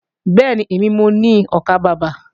Bẹ́ẹ̀ni, èmi mo ni ọkàbàbà